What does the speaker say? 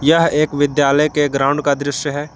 यह एक विद्यालय के ग्राउंड का दृश्य है।